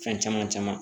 Fɛn caman caman